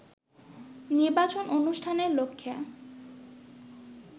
নির্বাচন অনুষ্ঠানের লক্ষ্যে